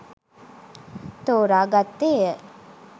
තෝරා ගත්තේය